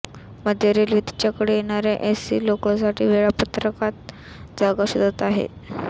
मध्य रेल्वे तिच्याकडे येणाऱ्या एसी लोकलसाठी वेळापत्रकात जागा शोधत आहे